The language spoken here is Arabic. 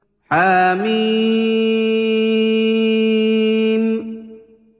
حم